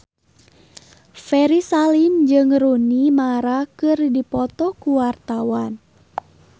Ferry Salim jeung Rooney Mara keur dipoto ku wartawan